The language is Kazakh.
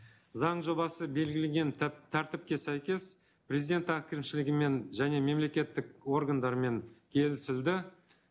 заң жобасы белгілеген тәртіпке сәйкес президент әкімшілігімен және мемлекеттік органдармен келісілді